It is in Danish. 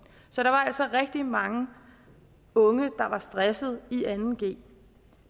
så der var altså rigtig mange unge der var stressede i anden g